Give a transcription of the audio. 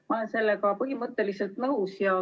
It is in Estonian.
Ma olen sellega põhimõtteliselt nõus.